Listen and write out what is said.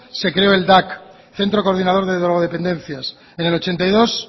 se creó el dak centro coordinador de drogodependencias en el ochenta y dos